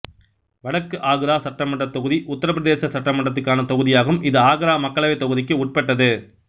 வடக்கு ஆக்ரா சட்டமன்றத் தொகுதி உத்தரப் பிரதேச சட்டமன்றத்துக்கான தொகுதியாகும் இது ஆக்ரா மக்களவைத் தொகுதிக்கு உட்பட்டது